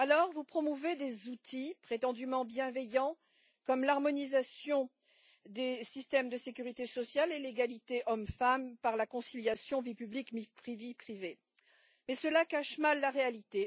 Vous promouvez ainsi des outils prétendument bienveillants, comme l'harmonisation des systèmes de sécurité sociale et l'égalité hommes femmes par la conciliation vie publique vie privée, mais cela cache mal la réalité.